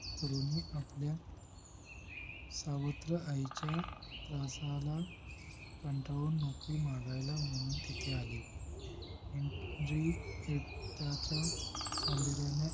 तरुणी आपल्या सावत्र आईच्या रसाळा कंटाळून नौकरी मागायला म्हणून तेथे आली हेनरीटाच्या सौंदर्याने